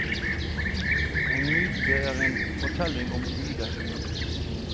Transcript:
En myte er en fortelling om guder.